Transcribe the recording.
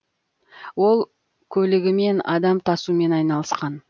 ол көлігімен адам тасумен айналысқан